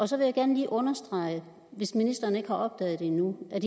så vil jeg gerne lige understrege hvis ministeren ikke har opdaget det endnu at